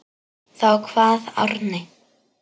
Þá kvað Árni: